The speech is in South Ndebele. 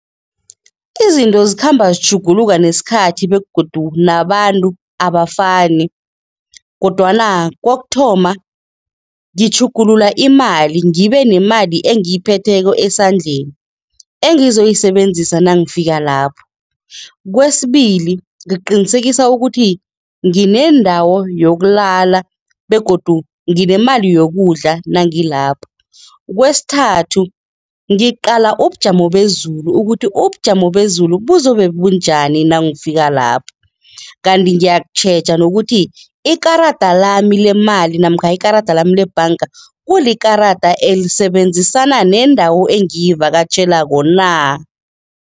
Izinto zikhamba zitjhuguluka nesikhathi begodu nabantu abafani kodwana kokuthoma ngitjhugulula imali ngibe nemali engiyiphetheko esandleni engizoyisebenzisa nangifika lapho. Kwesibili, ngiqinisekisa ukuthi nginendawo yokulala begodu nginemali yokudla nangilapho. Kwesithathu, ngiqala ubujamo bezulu ukuthi ubujamo bezulu buzobe bunjani nangifika lapho kanti ngiyatjheja nokuthi ikarada lami lemali namkha ikarada lami lebhanga, kulikarada elisebenzisana nendawo engiyivakatjhelako na.